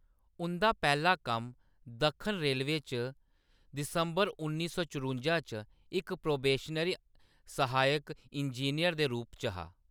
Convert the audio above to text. उंʼदा पैह्‌‌ला कम्म दक्खन रेलवे च दिसंबर उन्नी सौ चरुंजा च इक प्रोबेशनरी सहायक इंजीनियर दे रूप च हा।